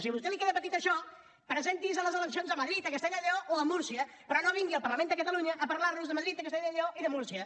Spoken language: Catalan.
si a vostè li queda petit això presenti’s a les eleccions a madrid a castella i lleó o a múrcia però no vingui al parlament de catalunya a parlar nos de madrid de castellà i lleó i de múrcia